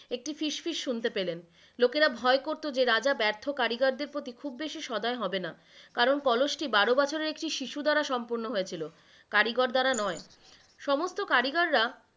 একটি ফিশ ফিশ শুনতে পেলেন। লোকেরা ভয় করতো যে রাজা ব্যার্থ কারিগরদের প্রতি খুব বেশি স্বদয় হবেননা কারণ কলস টি বারো বছরের একটি শিশু দ্বারা সম্পূর্ণ হয়েছিলো, কারিগর দ্বারা নয়। সমস্ত কারিগররা,